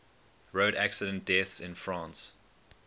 road accident deaths in france